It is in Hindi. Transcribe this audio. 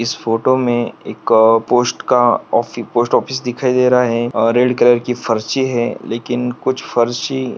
इस फोटोमें एक अ पोस्ट का ऑफि पोस्ट ऑफिस दिख रहा है अ रेड कलर की फरशी है लेकिन कुछ फरशी --